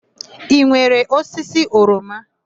I nwere osisi oroma?